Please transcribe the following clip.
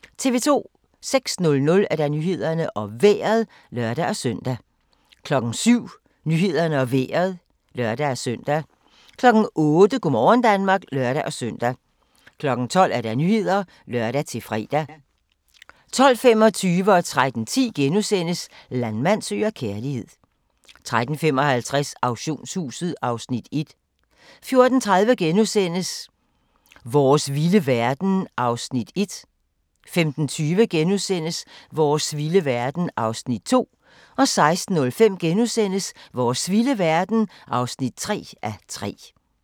06:00: Nyhederne og Vejret (lør-søn) 07:00: Nyhederne og Vejret (lør-søn) 08:00: Go' morgen Danmark (lør-søn) 12:00: Nyhederne (lør-fre) 12:25: Landmand søger kærlighed * 13:10: Landmand søger kærlighed * 13:55: Auktionshuset (Afs. 1) 14:30: Vores vilde verden (1:3)* 15:20: Vores vilde verden (2:3)* 16:05: Vores vilde verden (3:3)*